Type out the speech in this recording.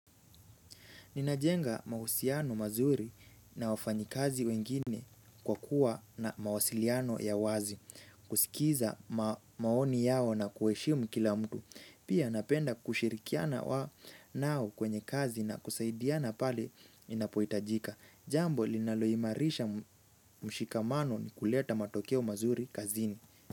Ninajenga mahusiano mazuri na wafanyikazi wengine kwa kuwa na mawasiliano ya wazi. Kusikiza maoni yao na kuheshimu kila mtu. Pia napenda kushirikiana wa nao kwenye kazi na kusaidiana pale inapohitajika. Jambo linaloimarisha mshikamano ni kuleta matokeo mazuri kazini.